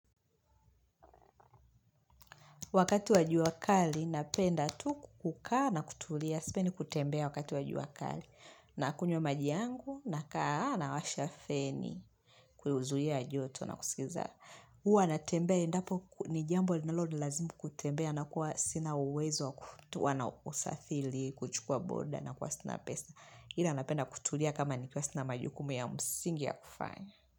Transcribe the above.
Wakati wa jua kali, napenda tu kukaa na kutulia. Sipendi kutembea wakati wa jua kali. Nakunywa maji yangu, nakaa nawasha feni. Kwaio huzuia joto na kusikiza. Huwa natembea, endapo ni jambo linalonilazimu kutembea. Nakua sina uwezo wa kutoa na kusafili, kuchukua boda nakuwa sina pesa. Ila napenda kutulia kama nikiwa sina majukumu ya msingi ya kufanya.